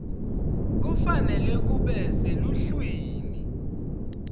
kufanele kube seluhlwini